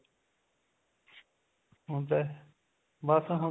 ਹੁਣ ਤੇ ਬੱਸ ਹੁਣ ਤਾਂ